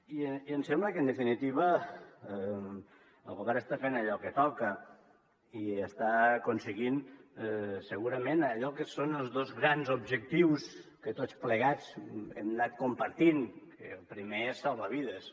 i em sembla que en definitiva el govern està fent allò que toca i està aconseguint segurament allò que són els dos grans objectius que tots plegats hem anat compartint que el primer és salvar vides